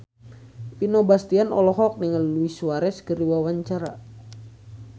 Vino Bastian olohok ningali Luis Suarez keur diwawancara